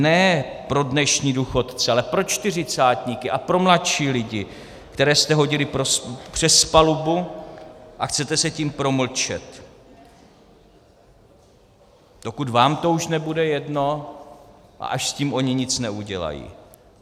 Ne pro dnešní důchodce, ale pro čtyřicátníky a pro mladší lidi, které jste hodili přes palubu, a chcete se tím promlčet, dokud vám to už nebude jedno a až s tím oni nic neudělají.